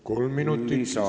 Kolm minutit lisaaega.